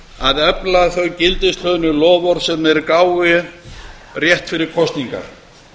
að efla þau gildis loforð sem þeir gáfu rétt fyrir kosningar